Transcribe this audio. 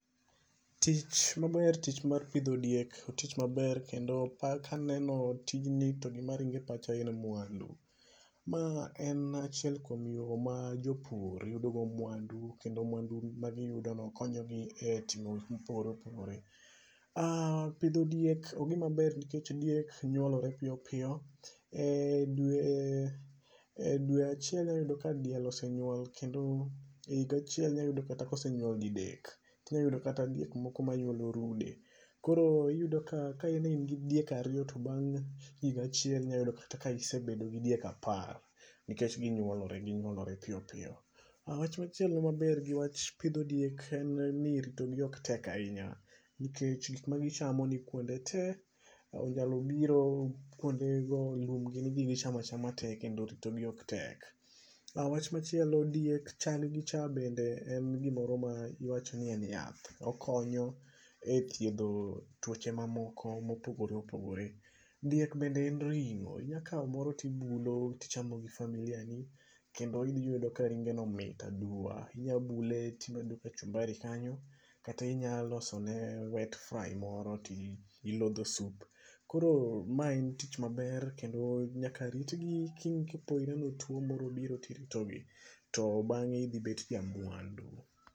Tich maber, tich mar pidho diek,o tich maber kendo ka aneno tijni to gima ringo e pacha en mwandu. Maa en achiel kuom yoo ma jopur yudogo mwandu kendo mwandu ma giyudoono konyogi e timo gikma opogore opogore. Pidho diek en gimaber nikech diek nyuolore piyopiyo e dwe e dwe achiel iboyudo ka diel osenyuol kendo e higa achiel inyayudo kata ka osenyuol didek, inyayudo kata diek moko manyuolo rude. Koro iyudo ka in in gi diek ariyo to bang' higa achiel inyayudo kata ka isebedo gi diek apar, nikech ginyuolore ginyuolore piyo piyo, wach machielo mabor gi wach pidho diek en ni ritogi ok tek ahinya, nikech gikma gichamo ni kwuonde tee, inyalo biro kwondego lum ginnigi gichamo achama tee kendo ritogi ok tek. Wach machielo diek chaggi cha be en gimoro ma iwacho ni en yath, okonyo e thiedho twoche mamoko mopogore opoogore, diek bende en ring'o, inyakawo moro to ibulo to ichamo gi familia ni kendo idhiyudo ka ringeno mit aduwa, inyabule to imedo kachumbari kanyo kata inyalosone wet fry moro to ilodho sup koro mae en tich maber kendo nyaka ritgi kopore ni twoo moro obiro to iritogi to bang'e idhibet ja mwandu.